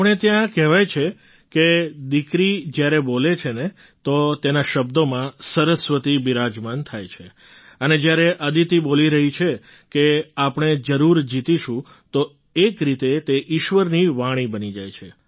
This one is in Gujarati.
આપણે ત્યાં કહેવાય છે કે દીકરી જ્યારે બોલે છે ને તો તેના શબ્દોમાં સરસ્વતી બિરાજમાન થાય છે અને જ્યારે અદિતિ બોલી રહી છે કે આપણે જરૂર જીતીશું તો એક રીતે તે ઈશ્વરની વાણી બની જાય છે